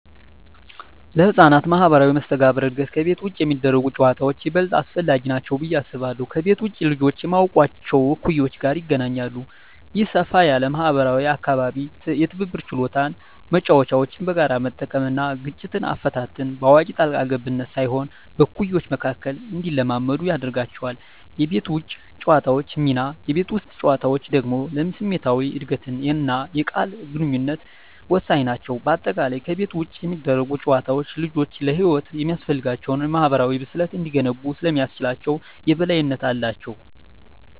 ለሕፃናት ማኅበራዊ መስተጋብር እድገት ከቤት ውጭ የሚደረጉ ጨዋታዎች ይበልጥ አስፈላጊ ናቸው ብዬ አስባለሁ። ከቤት ውጭ ልጆች ከማያውቋቸው እኩዮች ጋር ይገናኛሉ። ይህ ሰፋ ያለ ማኅበራዊ አካባቢ የትብብር ችሎታን (መጫወቻዎችን በጋራ መጠቀም) እና ግጭት አፈታትን (በአዋቂ ጣልቃ ገብነት ሳይሆን በእኩዮች መካከል) እንዲለማመዱ ያደርጋቸዋል። የቤት ውስጥ ጨዋታዎች ሚና: የቤት ውስጥ ጨዋታዎች ደግሞ ለስሜታዊ እድገትና የቃል ግንኙነት ወሳኝ ናቸው። በአጠቃላይ፣ ከቤት ውጭ የሚደረጉ ጨዋታዎች ልጆች ለሕይወት የሚያስፈልጋቸውን የማኅበራዊ ብስለት እንዲገነቡ ስለሚያስችላቸው የበላይነት አላቸው።